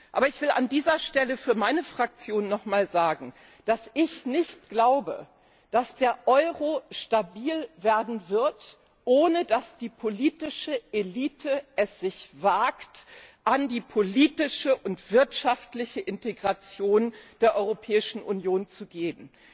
Aber ich will an dieser Stelle für meine Fraktion noch mal sagen, dass ich nicht glaube, dass der Euro stabil werden wird, ohne dass die politische Elite es wagt, an die politische und wirtschaftliche Integration der Europäischen Union zu gehen.